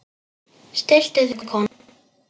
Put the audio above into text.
Stilltu þig kona!